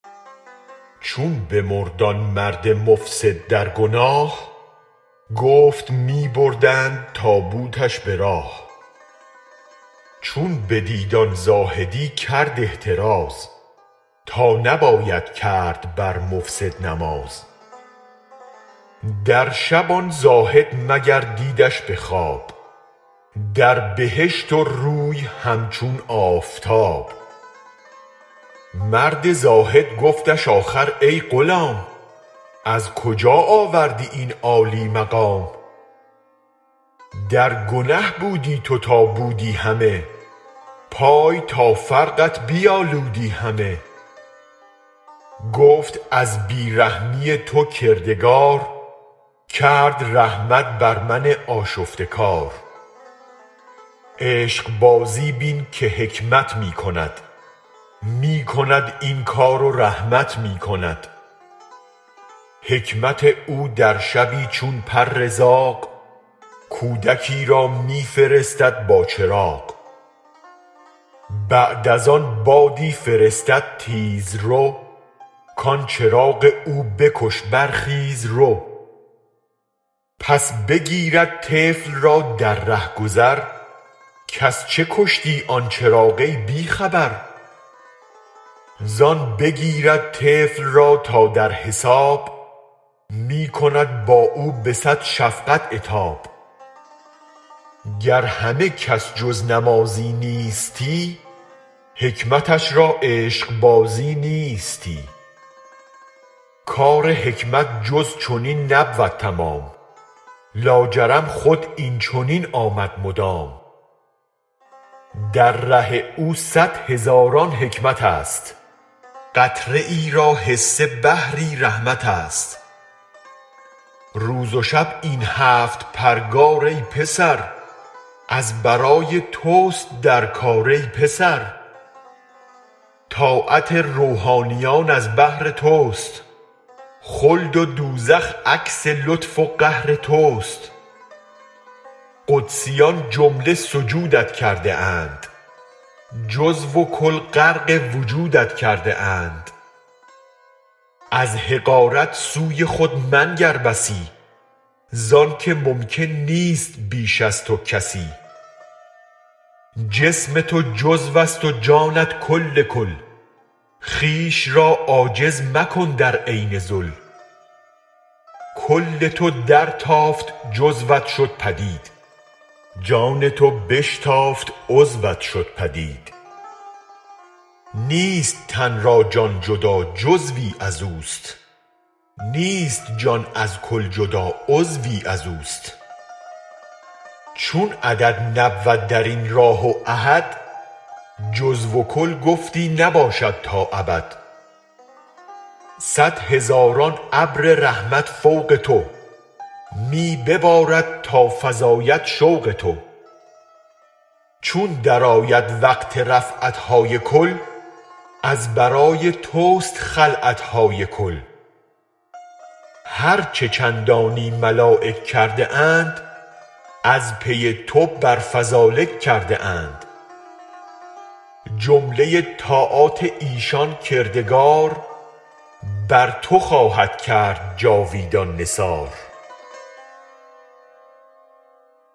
چون بمرد آن مرد مفسد در گناه گفت می بردند تابوتش به راه چون بدید آن زاهدی کرد احتراز تا نباید کرد بر مفسد نماز در شب آن زاهد مگر دیدش به خواب در بهشت و روی همچون آفتاب مرد زاهد گفتش آخر ای غلام از کجا آوردی این عالی مقام در گنه بودی تو تا بودی همه پای تا فرقت بیالودی همه گفت از بی رحمی تو کردگار کرد رحمت بر من آشفته کار عشق بازی بین که حکمت می کند می کند این کار و رحمت می کند حکمت او در شبی چون پر زاغ کودکی را می فرستد با چراغ بعد از آن بادی فرستد تیزرو کان چراغ او بکش برخیز و رو پس بگیرد طفل را در ره گذر کز چه کشتی آن چراغ ای بی خبر زان بگیرد طفل را تا در حساب می کند با او به صد شفقت عتاب گر همه کس جز نمازی نیستی حکمتش را عشق بازی نیستی کار حکمت جز چنین نبود تمام لاجرم خوداین چنین آمد مدام در ره او صد هزاران حکمتست قطره را حصه ی بحر رحمتست روز و شب این هفت پرگار ای پسر از برای تست در کار ای پسر طاعت روحانیون از بهر تست خلد و دوزخ عکس لطف و قهرتست قدسیان جمله سجودت کرده اند جزو و کل غرق وجودت کرده اند از حقارت سوی خود منگر بسی زانک ممکن نیست بیش از تو کسی جسم تو جزوست و جانت کل کل خویش را عاجز مکن در عین ذل کل تو درتافت جزوت شد پدید جان تو بشتافت عضوت شد پدید نیست تن از جان جدا جزوی ازوست نیست جان از کل جدا عضوی ازوست چون عدد نبود درین راه و احد جزو و کل پیوسته باشد با ابد صد هزاران ابر رحمت فوق تو می ببارد تافزاید شوق تو چون درآید وقت رفعتهای کل از برای تست خلعتهای کل هرچ چندانی ملایک کرده اند از پی تو بر فذلک کرده اند جمله طاعات ایشان کردگار بر تو خواهد کرد جاویدان نثار